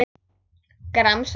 Gramsa í því.